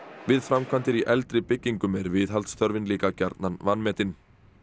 við framkvæmdir í eldri byggingum er viðhaldsþörfin líka gjarnan vanmetin